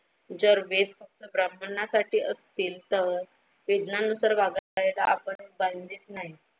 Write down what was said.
जर वेद फक्त ब्राह्मणांसाठी असतली तर वेदांना तर वागायला आपण बांधील नाही.